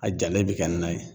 A jalen bi kɛ na ye.